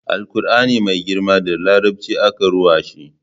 Alkur'ani mai girma da larabci aka ruwa shi